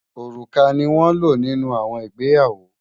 Ọrúkà ni won ló nínú àwọn ìgbéyàwó